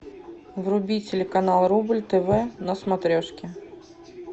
вруби телеканал рубль тв на смотрешке